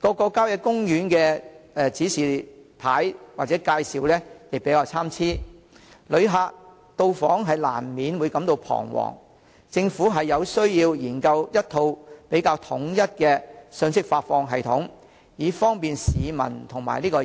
各郊野公園的路線指示及介紹參差，旅客到訪難免感到彷徨，政府有需要研究一套統一的信息發放系統，以方便市民及遊客。